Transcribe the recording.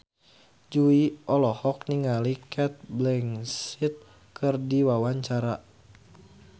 Jui olohok ningali Cate Blanchett keur diwawancara